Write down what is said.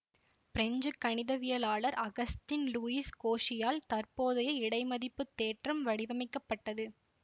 French கணிதவியலாளர் Augustin Louis கோஷியால் தற்போதைய இடைமதிப்புத் தேற்றம் வடிவமைக்கப்பட்டது